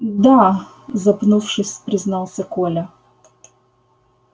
да запнувшись признался коля